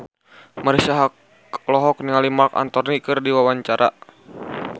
Marisa Haque olohok ningali Marc Anthony keur diwawancara